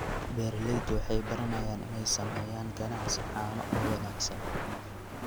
Beeraleydu waxay baranayaan inay sameeyaan ganacsi caano oo wanaagsan.